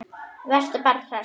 Vertu bara hress!